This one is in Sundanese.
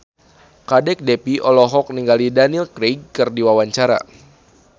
Kadek Devi olohok ningali Daniel Craig keur diwawancara